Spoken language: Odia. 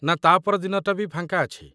ନା ତା' ପର ଦିନଟା ବି ଫାଙ୍କା ଅଛି?